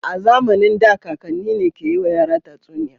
A zamanin da kakanni ne ke yiwa yara tatsuniya.